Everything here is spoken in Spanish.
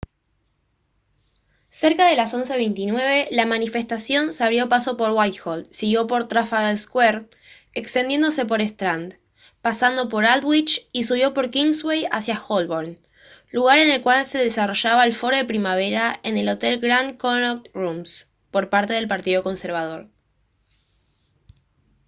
cerca de las 11:29 la manifestación se abrió paso por whitehall siguió por trafalgar square extendiéndose por strand pasando por aldwych y subió por kingsway hacia holborn lugar en el que se desarrollaba el foro de primavera en el hotel grand connaught rooms por parte del partido conservador